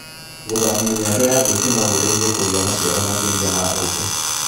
Gũthamia mĩatũ ya njũkĩ no gũteithie kũgĩa maciaro makĩria ma ũkĩ.